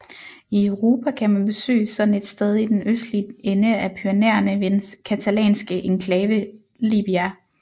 I Europa kan man besøge sådan et sted i den østlige ende af Pyrenæerne ved den catalanske enklave Llibia